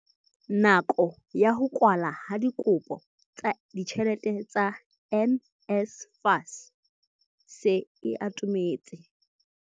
Nako ya ho kwalwa ha dikopo tsa ditjhelete tsa NSFAS e atometse